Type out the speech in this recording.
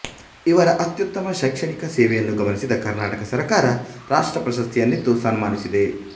ಇವರ ಅತ್ಯುತ್ತಮ ಶೈಕ್ಷಣಿಯ ಸೇವೆಯನ್ನು ಗಮನಿಸಿದ ಕರ್ನಾಟಕ ಸರಕಾರ ರಾಷ್ಟ್ರಪ್ರಶಸ್ತಿಯನ್ನಿತ್ತು ಸನ್ಮಾನಿಸಿದೆ